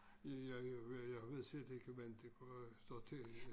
Ja jeg jeg ved jeg ved slet ikke hvordan det går står til